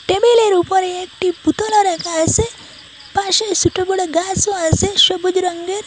টেবিলের উপরে একটি বুতলও রাখা আসে পাশে ছুটো বড় গাসও আছে সবুজ রঙ্গের ।